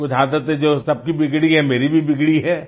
तो कुछ आदतें जो सबकी बिगड़ी हैं मेरी भी बिगड़ी है